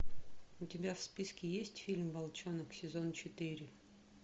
у тебя в списке есть фильм волчонок сезон четыре